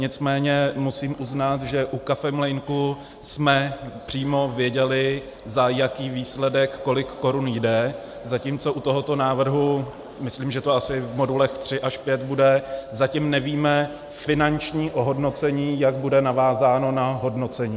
Nicméně musím uznat, že u kafemlýnku jsme přímo věděli, za jaký výsledek kolik korun jde, zatímco u tohoto návrhu, myslím, že to asi v modulech 3 až 5 bude, zatím nevíme finanční ohodnocení, jak bude navázáno na hodnocení.